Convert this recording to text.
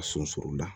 A sun suru la